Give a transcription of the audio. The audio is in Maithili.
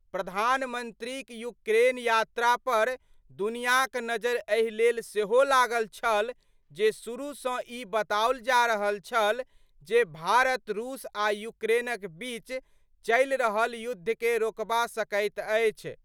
प्रधानमंत्रीक यूक्रेन यात्रा पर दुनियांक नजरि एहि लेल सेहो लागल छल जे शुरू सं ई बताओल जा रहल छल जे भारत रूस आ यूक्रेनक बीच चलि रहल युद्धकें रोकबा सकैत अछि।